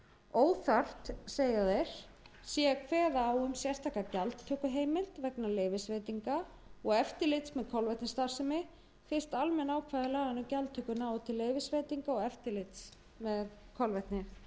óþarft sé að kveða á um sérstaka gjaldtökuheimild vegna leyfisveitinga og eftirlits með kolvetnisstarfsemi fyrst almenn ákvæði laganna um gjaldtöku nái til leyfisveitinga og